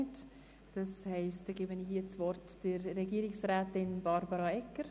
Ich erteile das Wort der Regierungsrätin Barbara Egger-Jenzer.